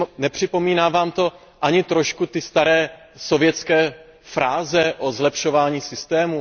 Nepřipomíná Vám to ani trochu staré sovětské fráze o zlepšování systémů?